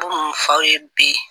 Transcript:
Ko mun f'aw ye bi